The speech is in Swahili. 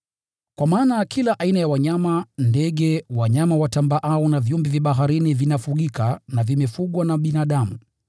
Kwa maana kila aina ya wanyama, ndege, wanyama watambaao na viumbe vya baharini vinafugika na vimefugwa na binadamu,